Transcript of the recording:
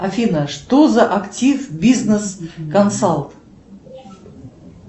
афина что за актив бизнес консалт